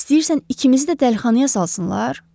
İstəyirsən ikimizi də dəlixanaya salsınlar?